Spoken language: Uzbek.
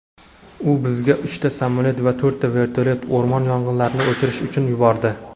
u bizga uchta samolyot va to‘rtta vertolyot (o‘rmon yong‘inlarini o‘chirish uchun) yubordi.